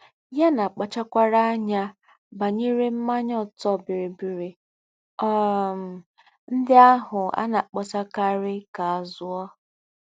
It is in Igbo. yánà Kpàchárákwá ányá bànyéré ḿmányá ọ̀tọ́ bííríbíírí um ndí́ àhù a nà-àkpósákárí ka à zúò